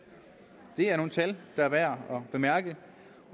det er nogle tal der er værd at bemærke